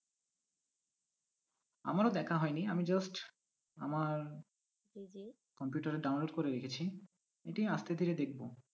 আমারও দেখা হয়নি আমি just আমার computer এ download করে রেখেছি এটি আজকে থেকে দেখব।